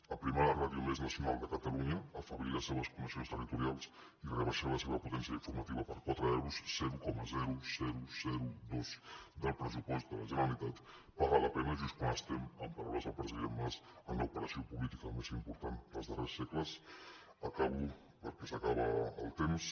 aprimar la ràdio més nacional de catalunya afeblir les seves connexions territorials i rebaixar la seva potència informativa per quatre euros zero coma dos per cent del pressupost de la generalitat paga la pena just quan estem amb paraules del president mas en l’operació política més important dels darrers segles acabo perquè s’acaba el temps